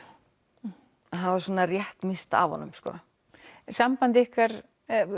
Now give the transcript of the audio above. að hafa svona rétt misst af honum Samband ykkar